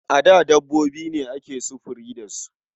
A da dabbobi ne ake sufuri da su.